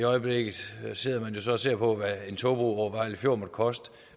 øjeblikket sidder man jo så og ser på hvad en togbro over vejle fjord måtte koste